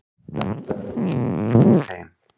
Þetta eru við gegn þeim.